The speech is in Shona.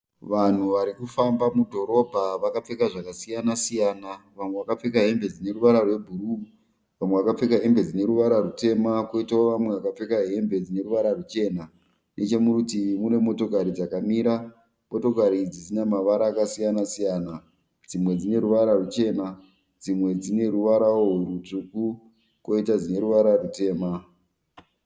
Vanhu varikufamba mudhorobha vakapfeka zvakasiyana siyana. Vamwe vakapfeka hembe dzineruvara rwebhuru vamwe vakapfeka hembe dzineruvara rutema koitawo vamwe vakapfeka hembe dzineruvara ruchena. Nechemurutivi mune motokari dzakamira. Motokari idzi dzine mavara akasiyana siyana, dzimwe dzineruvara ruchena dzimwe dzine ruvarawo rutsvuku koita dzineruvara rutema.